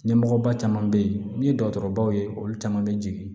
Ɲɛmɔgɔba caman bɛ yen n'i ye dɔgɔtɔrɔbaw ye olu caman bɛ jigin